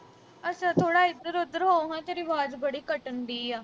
ਅੱਛਾ ਥੋੜ੍ਹਾ ਇਧਰ-ਉਧਰ ਹੋ ਨਾ। ਤੇਰੀ ਆਵਾਜ਼ ਬੜੀ ਕੱਟਣ ਡਈ ਆ।